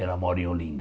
Ela mora em Olinda.